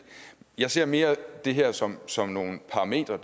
jeg ser mere det her som som nogle parametre